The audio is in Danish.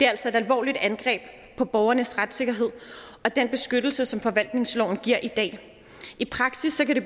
altså et alvorligt angreb på borgernes retssikkerhed og den beskyttelse som forvaltningsloven giver i dag i praksis kan det